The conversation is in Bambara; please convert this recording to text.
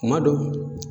Kuma dɔ